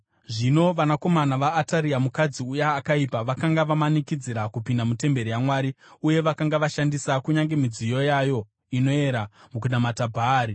Zvino vanakomana vaAtaria mukadzi uya akaipa vakanga vamanikidzira kupinda mutemberi yaMwari uye vakanga vashandisa kunyange midziyo yayo inoera mukunamata Bhaari.